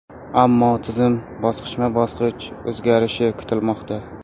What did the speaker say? Ammo tizim bosqichma-bosqich o‘zgarishi kutilmoqda.